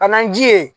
Ka na ji ye